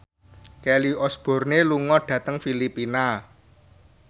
Kelly Osbourne lunga dhateng Filipina